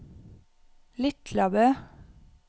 Litlabø